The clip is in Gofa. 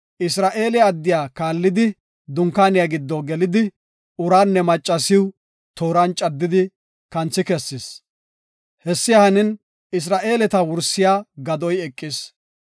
Isra7eele addiya kaallidi dunkaaniya giddo gelidi, uraanne maccasiw tooran caddidi kanthi kessis. Hessi hanin Isra7eeleta wursiya gadoy eqis.